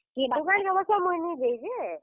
ଇ, ଦୁକାନ କେ ଅବଶ୍ୟ ମୁଇଁ ନି ଯାଇ ଯେ।